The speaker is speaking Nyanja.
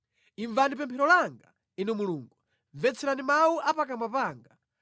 Imvani pemphero langa, Inu Mulungu mvetserani mawu a pakamwa panga.